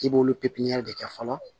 I b'olu pepiɲɛri kɛ fɔlɔ